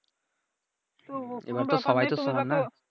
এবার তো সবাই তো সমান নাহ